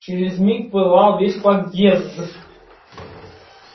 через миг пылал весь подъезд